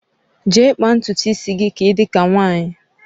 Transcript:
Je kpaa ntutu isi gị ka ị dị ka nwaanyị!